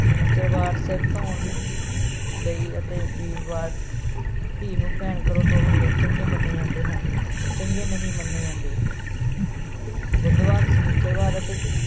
ਸਨਿਚਰਵਾਰ ਸਿਰ ਧੋਣ ਲਈ ਅਤੇ ਵੀਰਵਾਰ ਧੀ ਨੂੰ ਭੈਣ ਘਰੋਂ ਤੋਰਨ ਲਈ ਚੰਗੇ ਮੰਨੇ ਜਾਂਦੇ ਹਨ ਚੰਗੇ ਨਹੀਂ ਮੰਨੇ ਜਾਂਦੇ ਬੁੱਧਵਾਰ ਸਨਿਚਰਵਾਰ ਅਤੇ